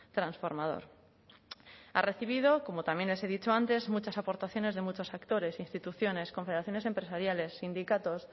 transformador ha recibido como también les he dicho antes muchas aportaciones de muchos actores instituciones confederaciones empresariales sindicatos